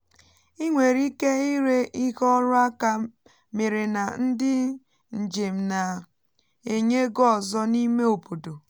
ị nwèrè ike ịre ihe ọrụ aka mere na ndị njem na-enye ego ọzọ n’ime obodo